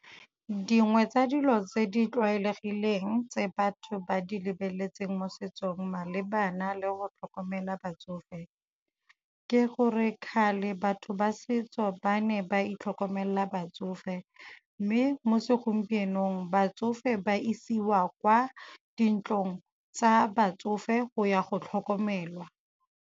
Dingwe tsa dilo tse di tlwaelegileng tse batho ba di lebeletseng mo setsong malebana le go tlhokomela batsofe ke gore kgale batho ba setso ba ne ba itlhokomelela batsofe, mme mo segompienong batsofe ba isiwa kwa dintlong tsa batsofe go ya go tlhokomelwa.